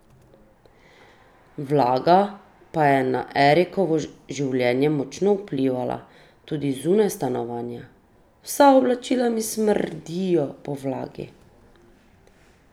Vlaga pa je na Erikovo življenje močno vplivala tudi zunaj stanovanja: "Vsa oblačila mi smrdijo po vlagi.